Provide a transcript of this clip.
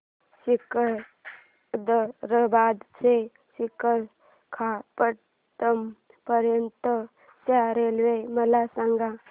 सिकंदराबाद ते विशाखापट्टणम पर्यंत च्या रेल्वे मला सांगा